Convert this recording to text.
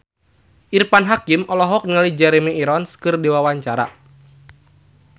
Irfan Hakim olohok ningali Jeremy Irons keur diwawancara